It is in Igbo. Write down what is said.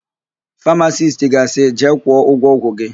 Famasisti ga-asị, "jee kwụọ ụgwọ ọgwụ gị"!